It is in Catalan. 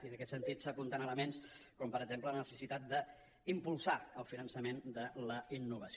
i en aquest sentit s’apunten elements com per exemple la necessitat d’impulsar el finançament de la innovació